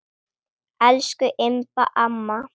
Elsku Imba amma.